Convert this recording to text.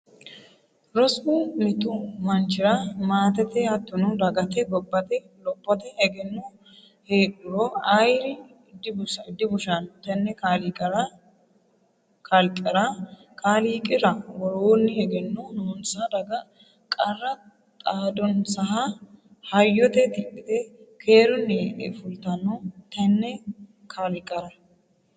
Rosu mitu manchira maatete hattono dagate gobbate lophote egenno heedhuro ayeeri dibushano tene kalqera kaaliiqira worooni ,egenno noonsa daga qarra xaadanonsaha hayyote tidhite keerunni e'e fultano tene kalqera.